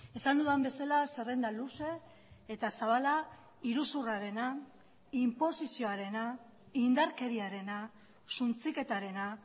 esan dudan bezala zerrenda luze eta zabala iruzurrarena inposizioarena indarkeriarena suntsiketarena